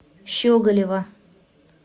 щеголева